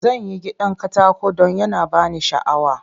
Zan yi gidan katako don yana ba ni sha'awa.